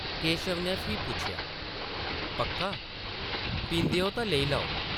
केशव नै फ्ही पुच्छेआ, ‘‘पक्का? पींदे ओ तां लेई लैओ ।’’